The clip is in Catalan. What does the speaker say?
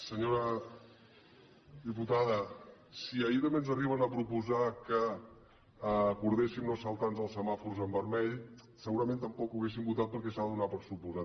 senyora diputada si ahir també ens arriben a proposar que acordéssim no saltar nos els semàfors en vermell segurament tampoc ho hauríem votat perquè s’ha de donar per suposat